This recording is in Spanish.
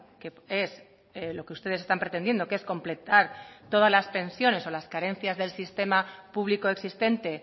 que es lo que ustedes están pretendiendo que es completar todas las pensiones o las carencias del sistema público existente